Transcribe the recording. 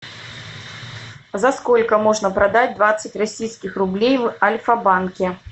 за сколько можно продать двадцать российских рублей в альфа банке